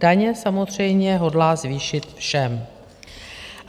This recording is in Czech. Daně samozřejmě hodlá zvýšit všem.